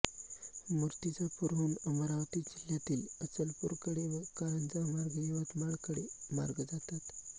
मूर्तिजापूरहून अमरावती जिल्ह्यातील अचलपूरकडे व कारंजामार्गे यवतमाळकडे मार्ग जातात